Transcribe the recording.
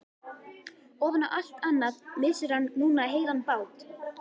Ofan á allt annað missir hann núna heilan bát.